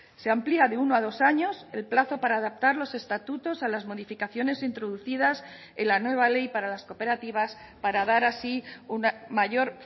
se amplía de uno a dos años el plazo para adaptar los estatutos a las modificaciones introducidas en la nueva ley para las cooperativas para dar así una mayor